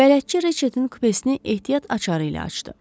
Bələdçi Riçardın kupesini ehtiyat açarı ilə açdı.